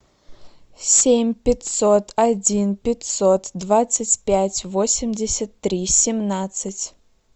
семь пятьсот один пятьсот двадцать пять восемьдесят три семнадцать